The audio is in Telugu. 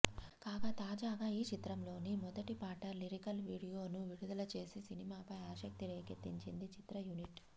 కాగా తాజాగా ఈ చిత్రంలోని మొదటి పాట లిరికల్ వీడియోను విడుదల చేసి సినిమాపై ఆసక్తి రేకెత్తించింది చిత్రయూనిట్